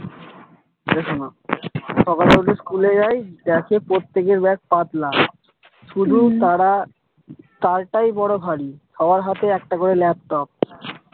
এটা শুনো সকালে উঠে school যায় দেখে প্রত্যেকের bag পাতলা তারা, তারটাই বড়ো ভারী সবার হাতে একটা করে laptop